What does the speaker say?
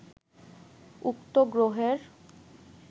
উক্ত গ্রহের